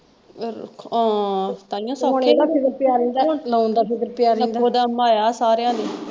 ਹਾਂ ਤਾਹੀਓਂ ਪਿਆ ਰਹਿੰਦਾ ਸੀ ਹੁਣ loan ਦਾ ਫਿਕਰ ਪੀਆ ਰਹਿੰਦਾ ਸਾਰਿਆਂ ਨੂੰ।